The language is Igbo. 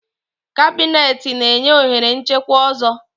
Cabineti na-enye ohere nchekwa ọzọ.